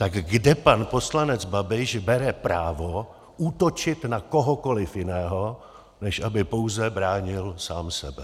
Tak kde pan poslanec Babiš bere právo útočit na kohokoliv jiného, než aby pouze bránil sám sebe?